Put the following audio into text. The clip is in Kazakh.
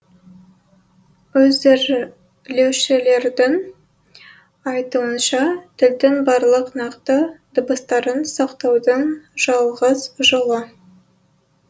әзірлеушілердің айтуынша тілдің барлық нақты дыбыстарын сақтаудың жалғыз жолы